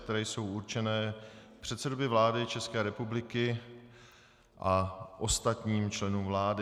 které jsou určeny předsedovi vlády České republiky a ostatním členům vlády.